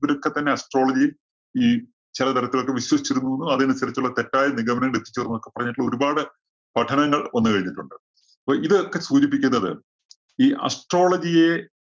ഇവരൊക്കെ തന്നെ astrology ഈ ചെല തരത്തിലൊക്കെ വിശ്വസിച്ചിരുന്നു എന്നും, അതനുസരിച്ചുള്ള തെറ്റായ നിഗമനങ്ങള്‍ ലഭിച്ചു എന്നൊക്കെ പറഞ്ഞിട്ട് ഒരുപാട് പഠനങ്ങള്‍ വന്നു കഴിഞ്ഞിട്ടുണ്ട്. അപ്പോ ഇതൊക്കെ സൂചിപ്പിക്കുന്നത് ഈ astrology യെ